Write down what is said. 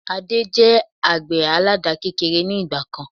Adé jẹ àgbẹ̀ àládà kékeré ni ìgbàkan